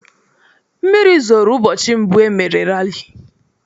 Mmiri zoro ụbọchị mbụ e mere rali.